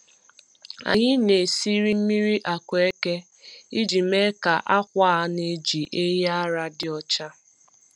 Anyị na-esiri mmiri akueke iji mee ka akwa a na-eji ehi ara dị ọcha.